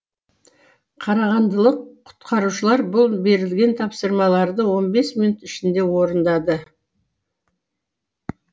қарағандылық құтқарушылар бұл берілген тапсырмаларды он бес минут ішінде орындады